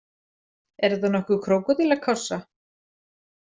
Er þetta nokkuð krókódílakássa?